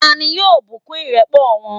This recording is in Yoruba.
ta ni yóò bùkún ìrẹ́pọ̀ wọn?